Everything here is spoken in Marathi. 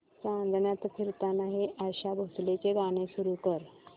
चांदण्यात फिरताना हे आशा भोसलेंचे गाणे सुरू कर